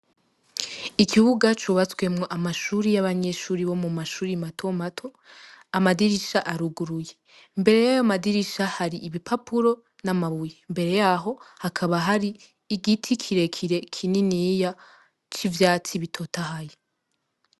Ikibuga cubatswemwo amashuri y'abanyeshuri bo mu mashuri mato mato, amadirishya aruguye. Imbere y'ayo madirisha hari ibipapuro n'amabuye. Imbere yaho, hakaba hari igiti kire kire kininiya c'ivyatsi ibitotahaye.